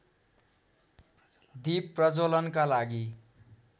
दीप प्रज्ज्वलनका लागि